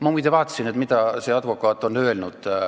Ma muide vaatasin, mida see advokaat on öelnud.